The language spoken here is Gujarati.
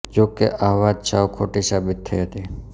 જોકે આ વાત સાવ ખોટી સાબિત થઈ હતી